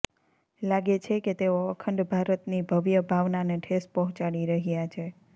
લાગે છે કે તેઓ અખંડ ભારતની ભવ્ય ભાવનાને ઠેસ પહોંચાડી રહ્યાં છે